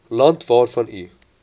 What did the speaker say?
land waarvan u